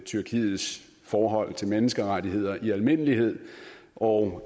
tyrkiets forhold til menneskerettigheder i almindelighed og